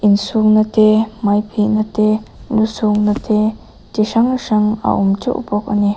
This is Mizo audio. in suk na te hmai phih na te lu suk na te chi hrang hrang a awm teuh bawk ani.